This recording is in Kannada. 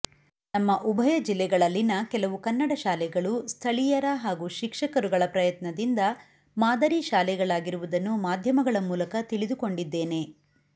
ನಮ್ಮ ಉಭಯ ಜಿಲ್ಲೆಗಳಲ್ಲಿನ ಕೆಲವು ಕನ್ನಡ ಶಾಲೆಗಳು ಸ್ಥಳೀಯರ ಹಾಗೂ ಶಿಕ್ಷಕರುಗಳ ಪ್ರಯತ್ನದಿಂದ ಮಾದರಿ ಶಾಲೆಗಳಾಗಿರುವುದನ್ನು ಮಾಧ್ಯಮಗಳ ಮೂಲಕ ತಿಳಿದುಕೊಂಡಿದ್ದೇನೆ